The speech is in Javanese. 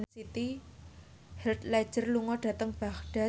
Heath Ledger lunga dhateng Baghdad